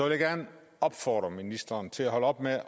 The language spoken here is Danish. jeg gerne opfordre ministeren til at holde op med